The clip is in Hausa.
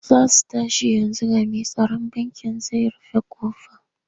Za su tashi yanzu ga mai tsaron bankin zai rufe ƙofa.